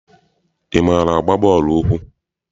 Ị maara agba bọọlụ ụkwụ?